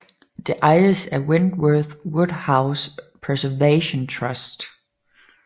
Det ejes af Wentworth Woodhouse Preservation Trust